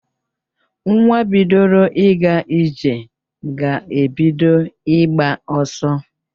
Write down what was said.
Nwa bidoro ịga ije ga-ebido ịgba ọsọ.